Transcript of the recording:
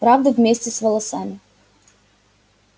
правда вместе с волосами